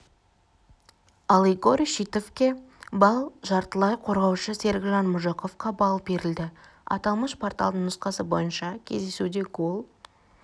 ал игорь шитовке балл жартылай қорғаушы серікжан мұжықовқа балл берілді аталмыш порталдың нұсқасы бойынша кездесуде гол